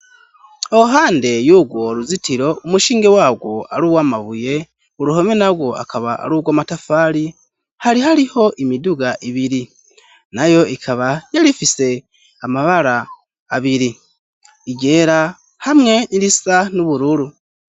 Iruhande y'urwo ruzitiro umushinge warwo aruw 'amabuye, uruhome narwo akaba arurw'amatafari ,hari hariho imiduga ibiri, nayo ikaba yarifise amabara abiri :iryera, hamwe n'irisa n' ubururu.